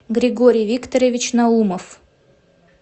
григорий викторович наумов